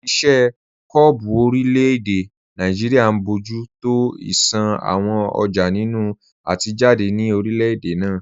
Iṣẹ́ kọ́ọ̀bù orílẹ̀-èdè Nàìjíríà ń bójú tó ìṣàn àwọn ọjà nínú àti jáde ní orílẹ̀-èdè náà